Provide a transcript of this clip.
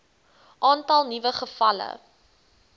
aantal nuwe gevalle